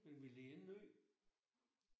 Men vi led ingen nød